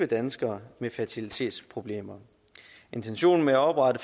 danskere med fertilitetsproblemer og intentionen med at oprette